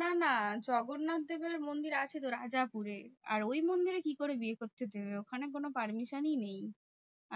না না জগন্নাথ দেবের মন্দির আছে তো রাজাপুরে। আর ওই মন্দিরে কি করে বিয়ে করতে দেবে? ওখানে কোনো permission ই নেই।